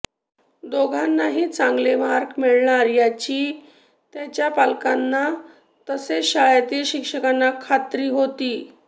दोघांनाही चांगले मार्क मिळणार याची त्यांच्या पालकांना तसेच शाळेतील शिक्षकांना खात्री होती